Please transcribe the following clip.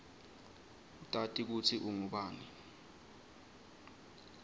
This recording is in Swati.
utati kutsi ungubani